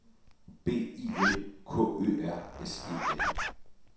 B I L K Ø R S E L